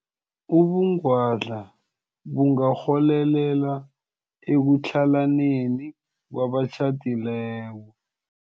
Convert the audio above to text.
Ubungwadla bungarholela ekutlhalaneni kwabatjhadileko.